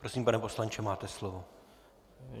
Prosím, pane poslanče, máte slovo.